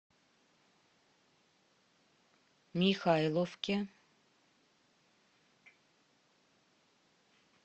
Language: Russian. михайловке